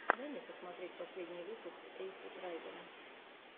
дай мне посмотреть последний выпуск эйсид райдера